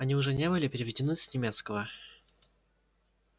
они уже не были переведены с немецкого